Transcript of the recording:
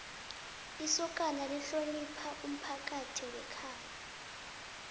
isokana lihlonopha umphakathi wekhabo